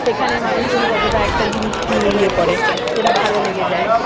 এখানের মানুষ জন কতটা একটা জিনিস নিয়ে ইয়ে করে যেটা ভালো লেগে যায়